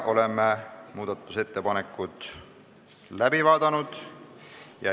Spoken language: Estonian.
Oleme muudatusettepanekud läbi vaadanud.